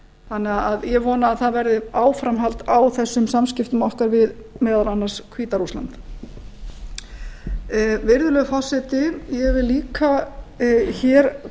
þannig að ég vona að verði áframhald á þessum samskiptum okkar við meðal annars hvíta rússland virðulegur forseti ég vil líka hér